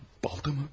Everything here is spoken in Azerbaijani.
Balta mı?